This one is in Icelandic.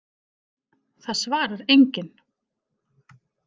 Það svarar enginn